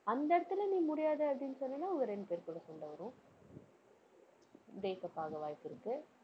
அந்த இடத்துல நீ முடியாது அப்படின்னு சொன்னீன்னா உங்க ரெண்டு பேர்க்குள்ள கூட சண்டை வரும் breakup ஆக வாய்ப்பிருக்கு.